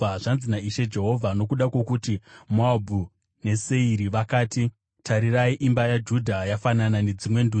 “Zvanzi naIshe Jehovha: ‘Nokuda kwokuti Moabhu neSeiri vakati, “Tarirai, imba yaJudha yafanana nedzimwe ndudzi,”